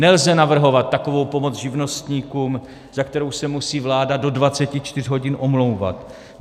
Nelze navrhovat takovou pomoc živnostníkům, za kterou se musí vláda do 24 hodin omlouvat.